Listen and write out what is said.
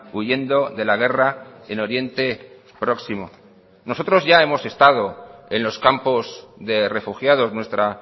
huyendo de la guerra en oriente próximo nosotros ya hemos estado en los campos de refugiados nuestra